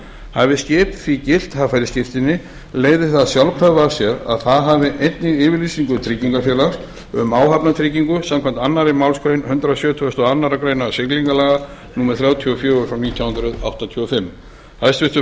hafi skip því gilt haffærisskírteini leiðir það sjálfkrafa af sér að það hafi einnig yfirlýsingu tryggingarfélags um áhafnartryggingu samkvæmt annarri málsgrein hundrað sjötugasta og aðra grein siglingalaga númer þrjátíu og fjögur nítján hundruð áttatíu og fimm hæstvirtur